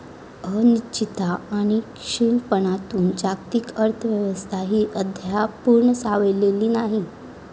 अनिश्चितता आणि क्षीणपणातून जागतिक अर्थव्यवस्थाही अद्याप पूर्ण सावरलेली नाही.